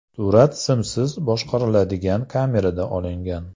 Surat simsiz boshqariladigan kamerada olingan.